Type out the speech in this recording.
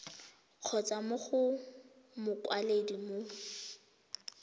kgotsa mo go mokwaledi mo